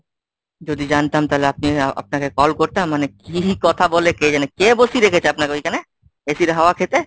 যদি জানতাম তাহলে আপনি আপনাকে call করতাম? মানে কি কথা বলে কে জানে? কে বসিয়ে রেখেছে আপনাকে ওইখানে ACর হাওয়া খেতে?